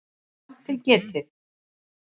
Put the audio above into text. Rangt til getið